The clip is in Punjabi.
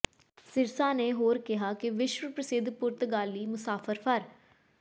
ਸਿਰਸਾ ਨੇ ਹੋਰ ਕਿਹਾ ਕਿ ਵਿਸ਼ਵ ਪ੍ਰਸਿੱਧ ਪੁਰਤਗਾਲੀ ਮੁਸਾਫਰ ਫਰ